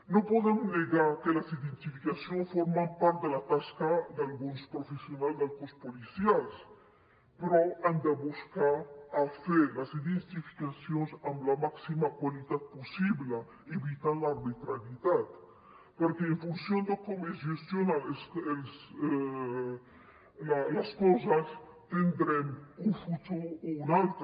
no podem negar que les identificacions formen part de la tasca d’alguns professionals dels cossos policials però han de buscar fer les identificacions amb la màxima qualitat possible evitant l’arbitrarietat perquè en funció de com es gestionen les coses tindrem un futur o un altre